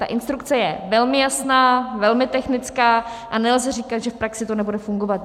Ta instrukce je velmi jasná, velmi technická a nelze říkat, že v praxi to nebude fungovat.